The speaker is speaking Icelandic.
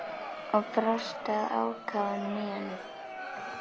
Og brosti að ákafanum í honum.